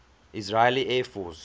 israeli air force